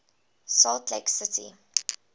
salt lake city